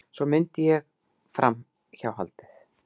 Svo mundi ég framhjáhaldið.